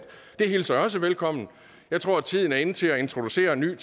det hilser jeg også velkommen jeg tror at tiden er inde til at introducere en ny